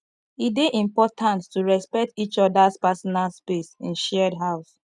e dey important to respect each others personal space in shared house